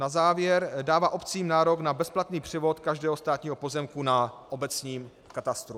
Na závěr - dává obcím nárok na bezplatný převod každého státního pozemku na obecním katastru.